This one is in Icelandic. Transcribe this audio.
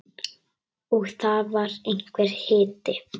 Og það var einhver hiti.